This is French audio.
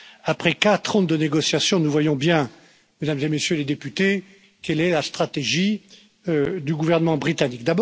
Après quatre ans de négociations, nous voyons bien, Mesdames et Messieurs les députés, quelle est la stratégie du gouvernement britannique.